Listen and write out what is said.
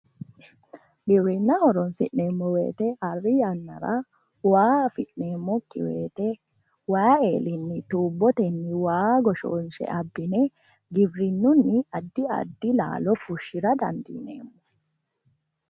Giwirinna horonsi'neemmo woyite arri yannara waa afi'neemmokki woyite waayi eellinni tuubbotenni waa goshoonshe abbine gibrinunni addi addi laalo fushshira dandineemmo.